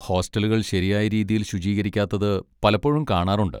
ഹോസ്റ്റലുകൾ ശരിയായ രീതിയിൽ ശുചീകരിക്കാത്തത് പലപ്പോഴും കാണാറുണ്ട്.